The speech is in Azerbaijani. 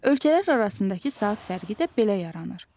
Ölkələr arasındakı saat fərqi də belə yaranır.